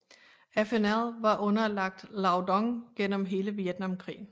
FNL var underlagt Lao Dong gennem hele Vietnamkrigen